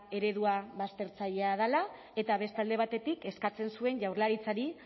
eredua baztertzailea dela eta beste alde batetik eskatzen zuen jaurlaritzari